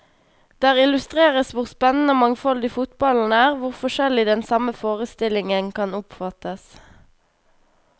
Der illustreres hvor spennende og mangfoldig fotballen er, hvor forskjellig den samme forestillingen kan oppfattes.